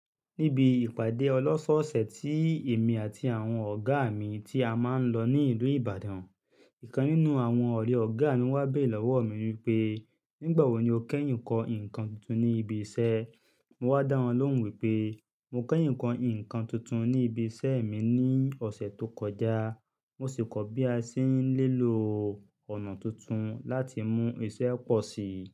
Níbi ìpàdé ọlọ́ṣọ̀ọ̀sẹ̀ tí èmi àti àwọn ọ̀gá mi tí a máa ń lọ ní ìlú Ìbàdàn, ìkan nínú àwọn ọ̀rẹ́ ọ̀gá mi wá bé lọ́wọ́ mi wí pé, "Nígbà wo ni o kẹ́yìn ń kọ́ nǹkan tuntun ní ibi iṣẹ́?" Mo wá dá wọn lóhùn wí pé, "Mo kẹ́yìn kọ́ nǹkan tuntun ní ibi iṣẹ́ mi ní ọ̀sẹ̀ tó kọjá, mo sì kọ̀ bí a ṣe ń lò ọ̀nà tuntun láti mú iṣẹ́ pọ̀ sí i."